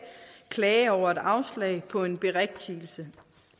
klage over et afslag på en berigtigelse